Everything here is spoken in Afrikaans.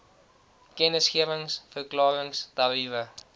kennisgewings verklarings tariewe